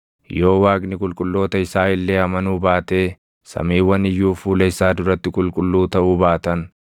Yoo Waaqni qulqulloota isaa illee amanuu baatee samiiwwan iyyuu fuula isaa duratti qulqulluu taʼuu baatan,